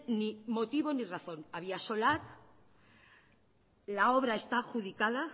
ni motivo ni razón había solar la obra está adjudicada